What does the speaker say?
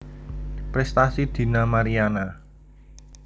Prestasi Dina Mariana